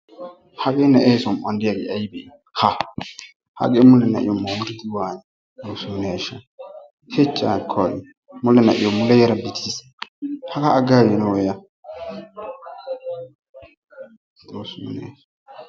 Hagee na'ee som'uwan diyagee ayibee? ha hagee nai'yo mooriidi waanii? xoosso ne ashsha! hich haakka hagee mule na'iyo muleera bitiis. hagaa aggaagiinawu a xoosso ne ashsha!